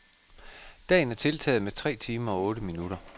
Dagen er tiltaget med tre timer og otte minutter.